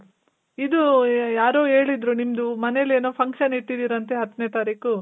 ಇದೂ, ಯಾರೋ ಹೇಳಿದ್ರು ನಿಮ್ದು ಮನೇಲ್ ಏನೋ function ಇಟ್ಟಿದಿರಿ ಅಂತೆ ಹತ್ನೆ ತಾರೀಖು?